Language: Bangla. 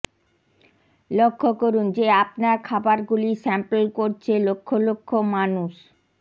লক্ষ করুন যে আপনার খাবারগুলি স্যাম্পল করছে লক্ষ লক্ষ মানুষ